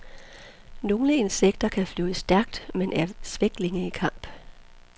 Nogle insekter kan flyve stærkt, men er svæklinge i kamp.